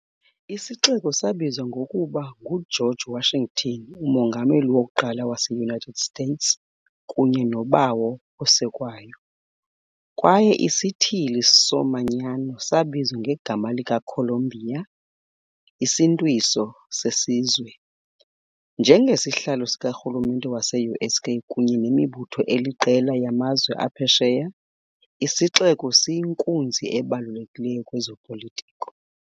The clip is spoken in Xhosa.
Isixeko sabizwa ngokuba nguGeorge Washington, umongameli wokuqala wase-United States kunye noBawo oSekwayo, kwaye isithili somanyano sabizwa ngegama likaColumbia, isimntwiso sesizwe. Njengesihlalo sikarhulumente wase-US kunye nemibutho eliqela yamazwe aphesheya, isixeko siyinkunzi ebalulekileyo kwezopolitiko.